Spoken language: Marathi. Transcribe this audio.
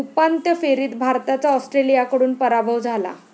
उपांत्य फेरीत भारताचा ऑस्ट्रेलियाकडून पराभव झाला.